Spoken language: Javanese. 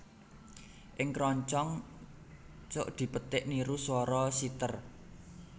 Ing kroncong cuk dipetik niru swara siter